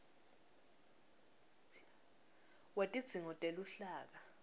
wetidzingo teluhlaka